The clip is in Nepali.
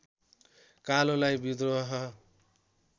कालोलाई विद्रोह